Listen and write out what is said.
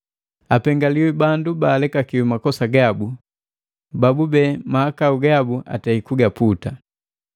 “Apengaliwi bandu baalekakiwi makosa gabu, babube mahakau gabu atei kugaputa.